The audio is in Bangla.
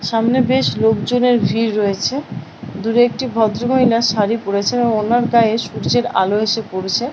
সামনে বেশ লোকজনের ভিড় রয়েছে দূরে একটি ভদ্র মহিলা শাড়ী পড়েছে এবং ওনার গায়ে সূর্যের আলো এসে পড়েছে।